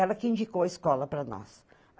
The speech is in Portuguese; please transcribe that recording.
Ela que indicou a escola para nós.